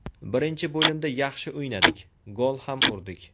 Birinchi bo‘limda yaxshi o‘ynadik, gol ham urdik.